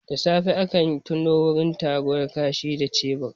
Da safe akayi tonon wurin taruwar kashi da shebur